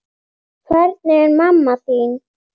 Hvernig er mamma þín?